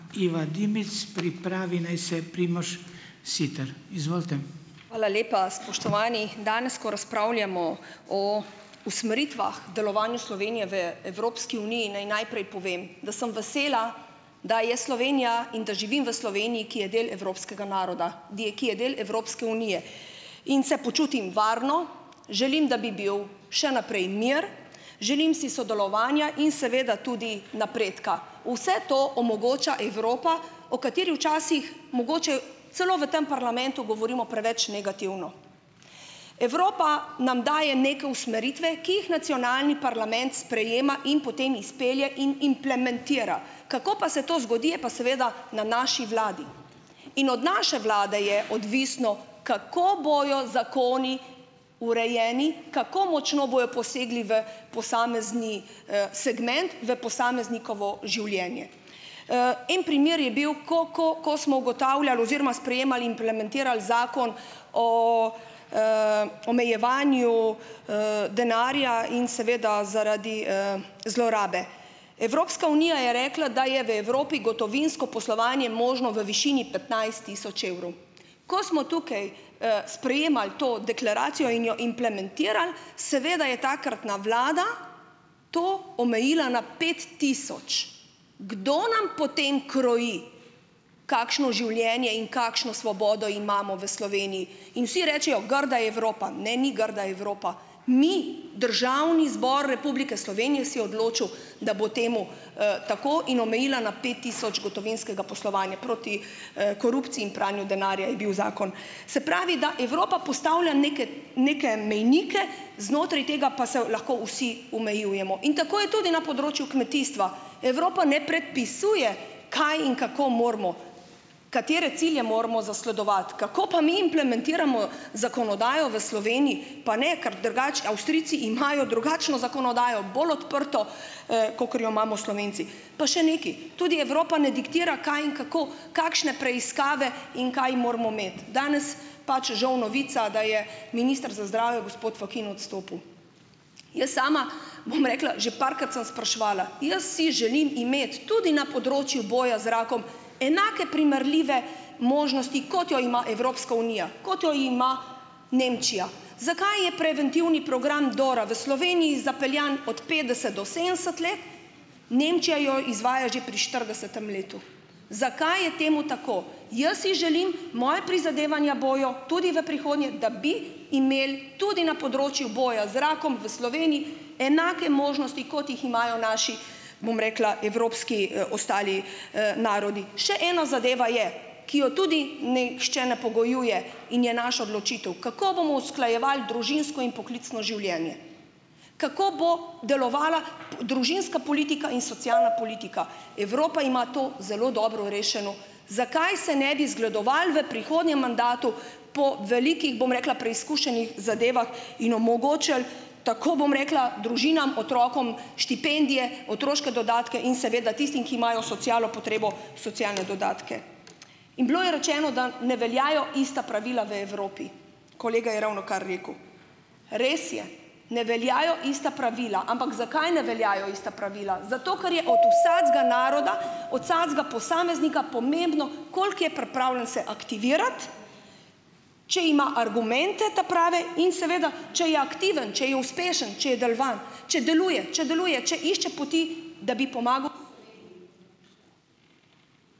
Eva Dimic, pripravi naj se Primož Siter, izvolite. Hvala lepa. Spoštovani! Danes, ko razpravljamo o usmeritvah delovanju Slovenije v Evropski uniji naj najprej povem, da sem vesela, da je Slovenija in da živim v ki je del evropskega naroda, di ki je del Evropske unije. In se počutim varno. Želim, da bi bil še naprej mir. Želim si sodelovanja in seveda tudi napredka. Vse to omogoča Evropa, o kateri včasih mogoče celo v tem parlamentu govorimo preveč negativno. Evropa nam daje neke usmeritve, ki jih nacionalni parlament sprejema in potem izpelje in implementira. Kako pa se to zgodi, je pa seveda na naši vladi. In od naše vlade je odvisno, kako bojo zakoni urejeni, kako močno bojo posegli v posamezni, segment v posameznikovo življenje. en primer je bil, ko ko ko smo ugotavljali oziroma sprejemali, implementirali zakon o, omejevanju, denarja in seveda zaradi, zlorabe. Evropska unija je rekla, da je v Evropi gotovinsko poslovanje možno v višini tisoč evrov. Ko smo tukaj, sprejemali to deklaracijo in jo implementirali, seveda, je takratna vlada to omejila na pet tisoč. Kdo nam potem kroji kakšno življenje in kakšno svobodo imamo v In vsi rečejo, grda Evropa. Ne, ni grda Evropa, mi, Državni zbor Republike Slovenije se je odločil, da bo temu, tako in omejila na pet tisoč gotovinskega poslovanja; proti, korupciji in pranju denarja je bil zakon. Se pravi, da Evropa postavlja neke neke mejnike, znotraj tega pa se lahko vsi omejujemo in tako je tudi na področju kmetijstva. Evropa ne predpisuje, kaj in kako moramo, katere cilje moramo zasledovati. Kako pa mi implementiramo zakonodajo v pa ne, ker drugače Avstrijci imajo drugačno zakonodajo, bolj odprto, kakor jo imamo Slovenci. Pa še nekaj, tudi Evropa ne diktira, kaj in kako, kakšne preiskave in kaj moramo imeti. Danes pač žal novica, da je minister za zdravje, gospod Fakin odstopil. Jaz sama bom rekla, že parkrat sem spraševala, jaz si želim imeti tudi na področju boja z rakom enake, primerljive možnosti, kot jo ima Evropska unija, kot jo ima Nemčija. Zakaj je preventivni program Dora v Sloveniji zapeljan od petdeset do sedemdeset let, Nemčija jo izvaja že pri štiridesetem letu. Zakaj je temu tako? Jaz si želim, moja prizadevanja bojo tudi v prihodnje, da bi imeli tudi na področju boja z rakom v enake možnosti, kot jih imajo naši, bom rekla, evropski, ostali, narodi. Še ena zadeva je, ki jo tudi nihče ne pogojuje in je naša odločitev. Kako bomo usklajevali družinsko in poklicno življenje? Kako bo delovala, družinska politika in socialna politika. Evropa ima to zelo dobro rešeno. Zakaj se ne bi zgledovali v prihodnjem mandatu po velikih, bom rekla, preizkušenih zadevah in omogočili, tako bom rekla, družinam, otrokom štipendije, otroške dodatke, in seveda tistim, ki imajo socialno potrebo, socialne dodatke. In bilo je rečeno, da ne veljajo ista pravila v Evropi. Kolega je ravnokar rekel. Res je, ne veljajo ista pravila. Ampak zakaj ne veljajo ista pravila? Zato, ker je od vsakega naroda, od vsakega posameznika pomembno, koliko je pripravljen se aktivirati, če ima argumente ta prave in, seveda, če je aktiven, če je uspešen, če je če deluje, če deluje, če išče poti, da bi pomagal ...